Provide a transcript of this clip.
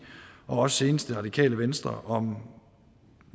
og også senest det radikale venstre om